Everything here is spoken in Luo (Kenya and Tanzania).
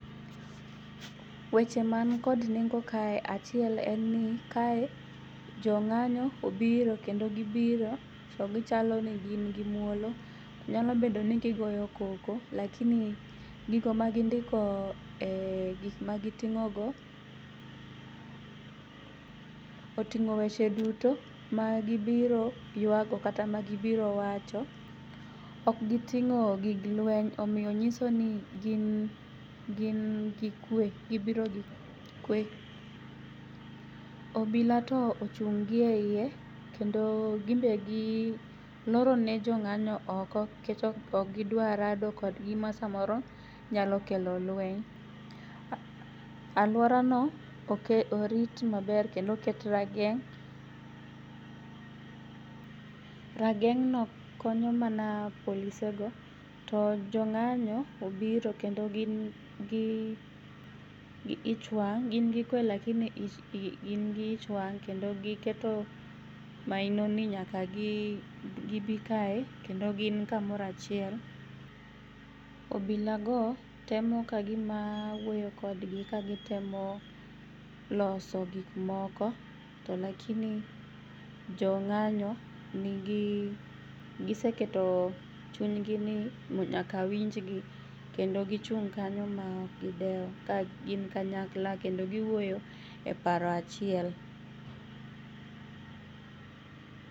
Weche mani kod nengo kae achiel en ni kae jong'anyo obiro kendo gibiro to gichalo ni gin gi muolo. Nyalo bedo ni gigoyo koko lakini gigo ma gindiko gik ma giting'o go oting'o weche duto ma gibiro ywago kata ma gibiro wacho . Ok giting'o gig lweny omiyo nyiso ni gin gin gi kwe gibro gi kwe .Obila to ochung' gi eiye kendo gin be giloro ne jong'anyo oko kech ok gidwa rado kodgi ma samoro nyalo kelo lweny. Aluora no oke orit maber kendo oket rageng' rageng' no konyo mana polise go to jong'anyo obiro kendo gin gi gi ich wang' gin gi kwe lakini gin gi ichwang' kendo giketo maino ni nyaka gibi kae kendo gin kamora chiel . Obila go temo kagima wuoyo kodgi kagitemo loso gik moko to lakini jong'anyo nigi giseketo chunygi ni nyaka winj gi kendo gichung' kanyo ma ok gidewo ka gin kanyakla kendo giwuoyo e paro achiel